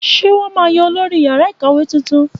Ṣé wọn máa yan olóyè yàrá ìkàwé tuntun?